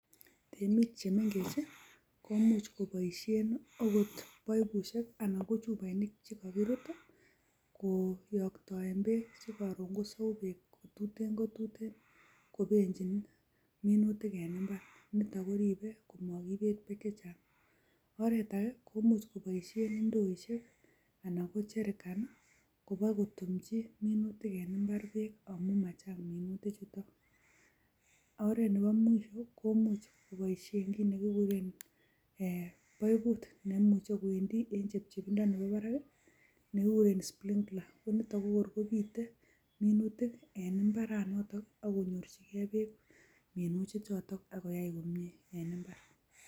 Temik che mengechen komuch koboishen agot baibushek anan ko chuboinik chekokirut koyoktoen beek che koron kosou beek kotuten kotuten kobenjin minutik en mbar. Nito koribe koma kibet beek che chang. Oret age komuch koboishen ndooishek anan ko jerican kobagotumchi minutik en mbar beek amun machang minutichuton. Oret nebo mwisho komuch koboishen kit nekikuren baibut neimuche kowendi en chepchebindo nemi barak nekikuren sprinkler. Konito kogorkobite minutik en mbaranoto ak konyorjige beek minutichoto ak koyai komye en mbar.